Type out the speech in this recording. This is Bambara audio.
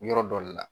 Yɔrɔ dɔ le la